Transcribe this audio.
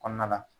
Kɔnɔna la